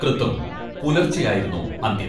കൃത്തും പുലർച്ചെയായിരുന്നു അന്ത്യം.